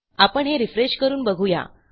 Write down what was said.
आपण हे रिफ्रेश करून बघू या